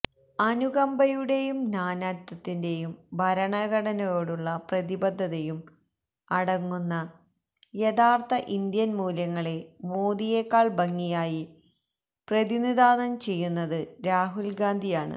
അനുകമ്പയുടെയും നാനാത്വത്തിന്റെയും ഭരണഘടനയോടുള്ള പ്രതിബദ്ധതയും അടങ്ങുന്ന യഥാര്ത്ഥ ഇന്ത്യന് മൂല്യങ്ങളെ മോദിയെക്കാള് ഭംഗിയായി പ്രതിനിധാനം ചെയ്യുന്നത് രാഹുല് ഗാന്ധിയാണ്